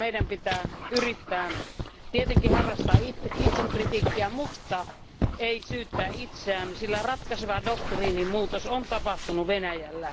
Meidän pitää yrittää, tietenkin harrastaa itsekritiikkiä, mutta ei syyttää itseään, sillä ratkaiseva doktriinimuutos on tapahtunut Venäjällä.